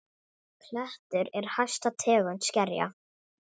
Klettur er hæsta tegund skerja.